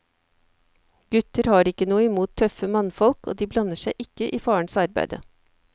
Gutter har ikke noe imot tøffe mannfolk, og de blander seg ikke i farens arbeide.